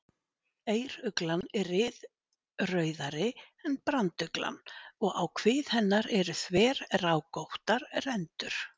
Eyruglan er ryðrauðari en branduglan og á kvið hennar eru þverrákóttar rendur.